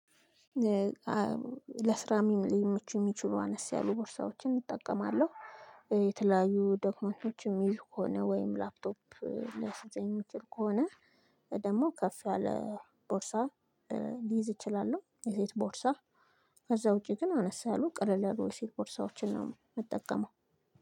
ለስራ ሊመቹ ሚችሉ አነስ ያሉ ቦርሳዎችን እጠቀማለሁ። የተለያዩ ደክመንቶች የሚይዝ ከሆነ ወይም ላፕቶፕ ሊያስገኝ የሚችል ከሆነ። ደግሞ ከፍ ያለ ቦርሳ ልይዝ ይችላል የዘይት ቦርሳ። ከዛ ውጪ ግን አነሳ ያሉ ቅርል ያሉ የሴት ፖርሳዎችን ነው የምትጠቀመው